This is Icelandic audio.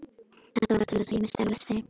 Þetta varð til þess að ég missti af lestinni.